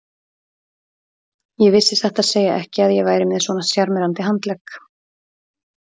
Ég vissi satt að segja ekki að ég væri með svona sjarmerandi handlegg.